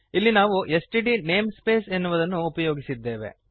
ಇಲ್ಲಿ ನಾವು STD namespace ಎನ್ನುವುದನ್ನು ಉಪಯೋಗಿಸಿದ್ದೇವೆ